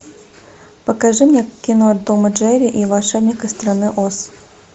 покажи мне кино том и джерри и волшебник из страны оз